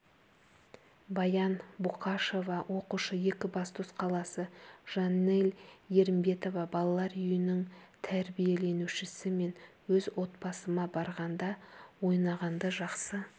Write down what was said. баян боқашева оқушы екібастұз қаласы жанель ерімбетова балалар үйінің тәрбиеленушісі мен өз отбасыма барғанды ойнағанды жақсы